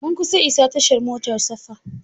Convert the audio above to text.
Mun kusa isa tashar motar safa.